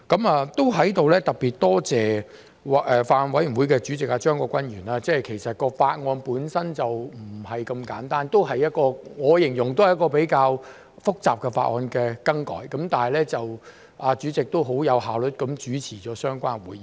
我在此特別多謝法案委員會主席張國鈞議員，其實法案本身並不簡單，我形容是一次比較複雜的修改法例工作，但主席也相當有效率地主持會議。